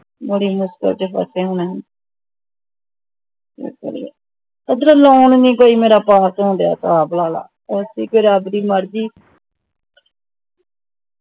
ਬੜੀ ਮੁਸ਼ਕਿਲ ਚ ਫਸੇ ਹੁਣ ਓਧਰੋਂ loan ਨਹੀਂ ਮੇਰਾ ਕੋਈ ਪਾਸ ਹੋ ਰਿਹਾ ਸਾਹਬ ਲਾ ਲਾ ਵੇਖੀ ਜੁ ਜੇੜੀ ਰੱਬ ਦੀ ਮਰਜ਼ੀ